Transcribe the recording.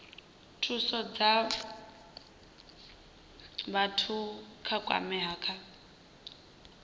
thusa vhathu vha kwameaho kha